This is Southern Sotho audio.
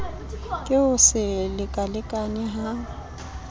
ke ho se lekalekane ha